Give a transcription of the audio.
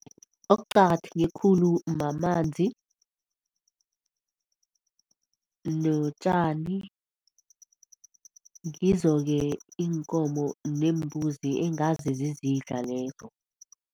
Okuqakatheke khulu ngamanzi notjani ngizo ke iinkomo neembuzi engazi zizindla lezo.